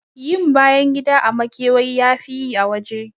Yin bayan gida a makewayi yafi yi a waje.